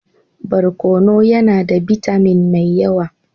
Barkono yana da bitamin mai yawa.